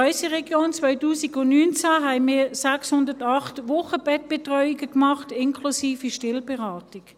In unserer Region haben wir 2019 608 Wochenbettbetreuungen gemacht, inklusive Stillberatung.